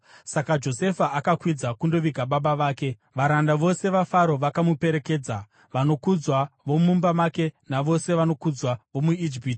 Saka Josefa akakwidza kundoviga baba vake. Varanda vose vaFaro vakamuperekedza, vanokudzwa vomumba make navose vanokudzwa vomuIjipiti,